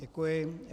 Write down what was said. Děkuji.